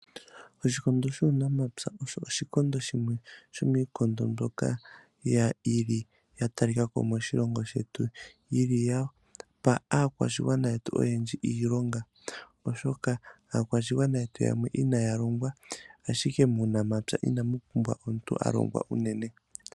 Oshikondo shuunamapya osho shimwe sho miikondo mbyoka ya talikako moshilongo shetu, yili yapa aakwashigwana yetu iilonga, oshoka aakwashigwana yetu yamwe inaya longwa , ashike muunamapya inamu pumbwa omuntu alongwa uunene.